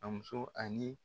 A muso ani